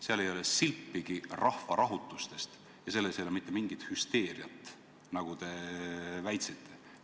Seal ei ole silpigi rahvarahutustest ja selles ei ole mitte mingit hüsteeriat, nagu te väitsite.